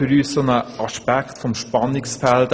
Für uns besteht hier ein Spannungsfeld.